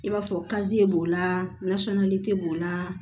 I b'a fɔ kaziye b'o la nasɔngɔli te b'o la